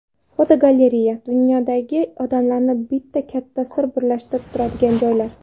Fotogalereya: Dunyodagi odamlarni bitta katta sir birlashtirib turadigan joylar.